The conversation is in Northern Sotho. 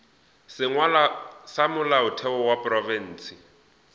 sengwalwa sa molaotheo wa profense